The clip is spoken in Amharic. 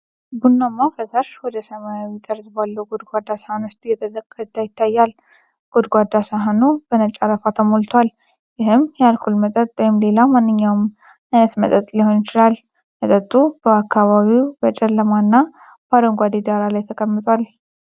ቡናማ ፈሳሽ ወደ ሰማያዊ ጠርዝ ባለው ጎድጓዳ ሳህን ውስጥ እየተቀዳ ይታያል። ጎድጓዳ ሳህኑ በነጭ አረፋ ተሞልቷል፣ ይህም የአልኮል መጠጥ ወይም ሌላ የማንኛውም ዓይነት መጠጥ ሊሆን ይችላል። መጠጡ በአካባቢው በጨለማና በአረንጓዴ ዳራ ላይ ተቀምጧል።